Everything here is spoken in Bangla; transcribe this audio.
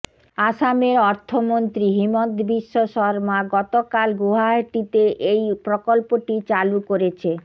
আসামের অর্থমন্ত্রী হিমন্ত বিশ্ব সরমা গতকাল গুয়াহাটিতে এই প্রকল্পটি চালু করেছে